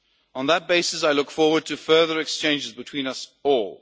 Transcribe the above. On that basis, I look forward to further exchanges between us all.